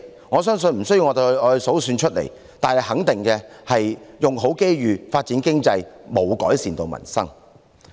我相信無須我數算出來，但可以肯定的是，"用好機遇"、"發展經濟"並無改善民生。